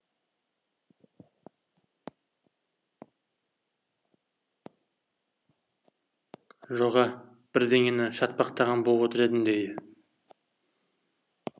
жоға бірдеңені шатпақтаған боп отыр едім дейді